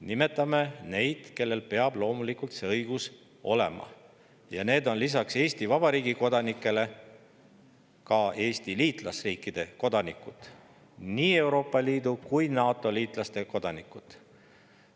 Nimetame neid, kellel peab loomulikult see õigus olema, ja need on lisaks Eesti Vabariigi kodanikele ka Eesti liitlasriikide kodanikud, nii Euroopa Liidu kui ka NATO kodanikud.